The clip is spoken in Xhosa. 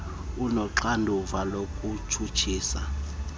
unoxanduva lokutshutshisa abaphuli